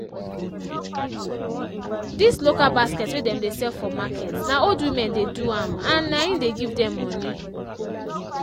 this local basket wey dem de sell for market na old women de do am an am an e de give dem moni